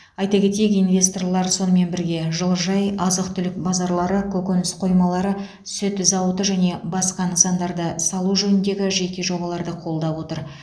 айта кетейік инвесторлар сонымен бірге жылыжай азық түлік базарлары көкөніс қоймалары сүт зауыты және басқа нысандарды салу жөніндегі жеке жобаларды қолдап отыр